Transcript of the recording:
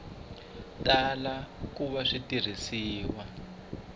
tala ku va swi tirhisiwa